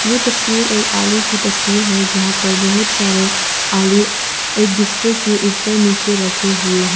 ये तस्वीर एक आलू की तस्वीर है जहां पर बहुत सारे आलू एक दूसरे के ऊपर नीचे रखें हुए हैं।